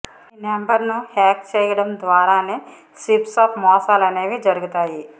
ఈ నెంబర్ను హ్యాక్ చేయటం ద్వారానే స్విప్ స్వాప్ మోసాలనేవి జరుగుతాయి